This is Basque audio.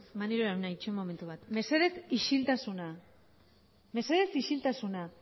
maneiro jauna itxoin momentu bat mesedez isiltasuna mesedez isiltasuna